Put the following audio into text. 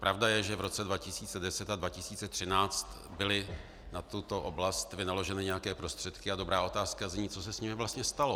Pravda je, že v roce 2010 a 2013 byly na tuto oblast vynaloženy nějaké prostředky, a dobrá otázka zní, co se s nimi vlastně stalo.